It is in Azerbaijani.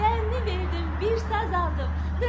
Gəlini verdim, bir saz aldım.